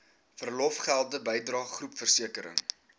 verlofgelde bydrae groepversekering